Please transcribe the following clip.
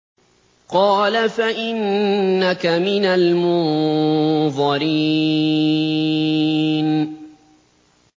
قَالَ فَإِنَّكَ مِنَ الْمُنظَرِينَ